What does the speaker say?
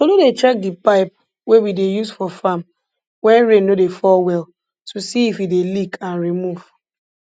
tolu dey check di pipe wey we dey use for farm wen rain no dey fall well to see if e dey leak and remove